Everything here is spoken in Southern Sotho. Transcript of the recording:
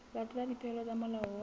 latela dipehelo tsa molao wa